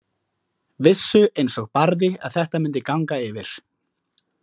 Vissu einsog Barði að þetta myndi ganga yfir.